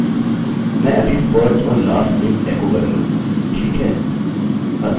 मैं अभी first और last name एकोechoकरूँगा ठीक है